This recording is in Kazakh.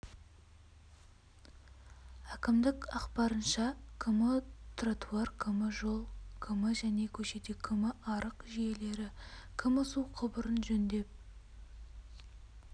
әкімдік ақпарынша км тротуар км жол км және көшеде км арық жүйелері км су құбырын жөндеп